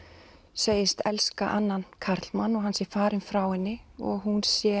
segist elska annan karlmann hann sé farinn frá henni og hún sé